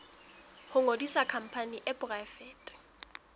ho ngodisa khampani e poraefete